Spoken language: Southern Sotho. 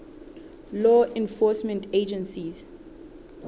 law enforcement agencies